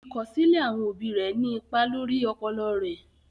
Ìkọsilẹ̀ àwọn obì rè ní ìpà lórí ọpọlọ rè.